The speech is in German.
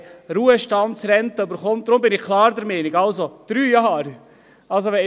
Deshalb bin ich klar der Meinung, dass drei Jahre reichen.